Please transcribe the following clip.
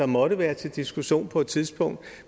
måtte være til diskussion på et tidspunkt